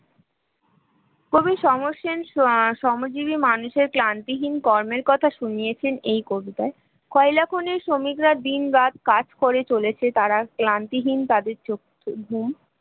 কবি সমর সেন শ্রমজীবী মানুষের ক্লান্তিহীন কর্মের কথা শুনিয়েছেন এই কবিতায় কয়লা খনির শ্রমিকরা দিনরাত কাজ করে চলেছে তারা ক্লান্তিহীন তাদের চোখ ঘুম